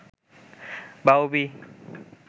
বাউবি